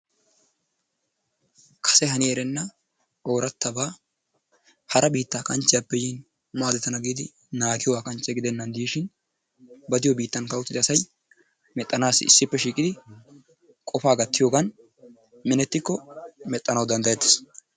Kasse hani erenna ooratabaa, hara biittaa kanchchiyappe yiin maadettana giyoobaa kanchche gidenan dishshin ba diyo biitttaankka uttidi asay mexxanassi asay qofaa gattiyogan menettikko mexxanawu dandayettees.